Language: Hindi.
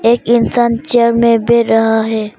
एक इंसान चेयर में बैठ रहा है।